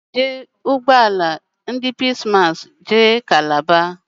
Aga m eji ụgbọ ala ndị Peace massị jee Kalaba